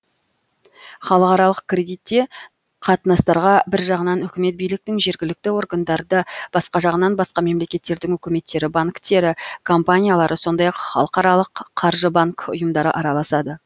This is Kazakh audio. халықаралық кредитте қатынастарға бір жағынан үкімет биліктің жергілікті органдары да басқа жағынан басқа мемлекеттердің үкіметтері банктері компаниялары сондай ақ халықаралық қаржы банк ұйымдары араласады